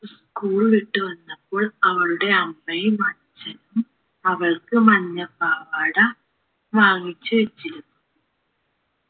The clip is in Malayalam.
school വിട്ട് വന്നപ്പോൾ അവളുടെ അമ്മയും അച്ഛനും അവൾക്ക് മഞ്ഞ പാവാട വാങ്ങിച്ച് വെച്ചിരുന്നു